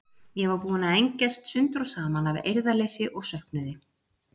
Ég var búin að engjast sundur og saman af eirðarleysi og söknuði.